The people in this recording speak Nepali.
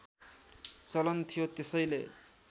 चलन थियो त्यसैले